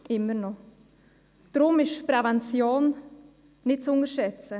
Deshalb ist Prävention nicht zu unterschätzen.